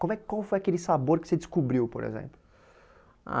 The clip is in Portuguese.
Como é Qual foi aquele sabor que você descobriu, por exemplo? Ah